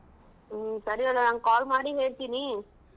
ಹ್ಮ್ ಸರಿ ಅವ್ವ ನಾನ್ call ಮಾಡಿ ಹೇಳ್ತಿನಿ.